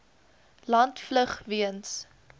land vlug weens